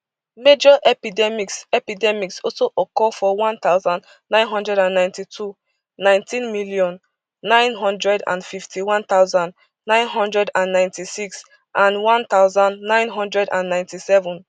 major epidemics epidemics also occur for one thousand, nine hundred and ninety-two nineteen million, nine hundred and fifty-one thousand, nine hundred and ninety-six and one thousand, nine hundred and ninety-seven